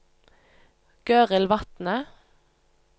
Gøril Vatne